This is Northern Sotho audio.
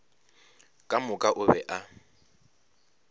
ka moka o be a